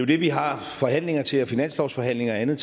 det vi har forhandlinger til finanslovsforhandlinger og andet